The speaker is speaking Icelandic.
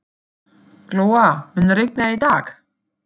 Glóa, mun rigna í dag?